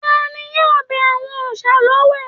Tani yóò bẹ àwọn òòsà l'ọwẹ̀?